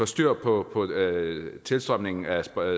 styr på tilstrømningen af